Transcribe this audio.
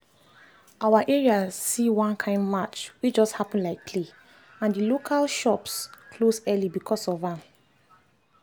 our area see one kind march wey just happen like play and the local shops close early because of am.